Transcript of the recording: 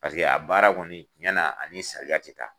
Paseke a baara kɔni tiɲɛna ani saliya tɛ taa.